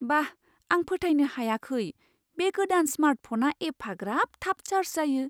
बा.. आं फोथायनो हायाखै बे गोदान स्मार्ट फ'ना एफाग्राब थाब चार्ज जायो!